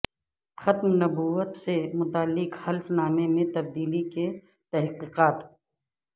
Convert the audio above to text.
ختم نبوت سے متعلق حلف نامے میں تبدیلی کی تحقیقات